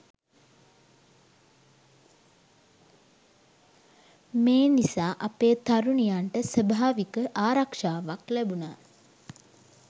මේ නිසා අපේ තරුණියන්ට ස්වභාවික ආරක්ෂාවක් ලැබුණා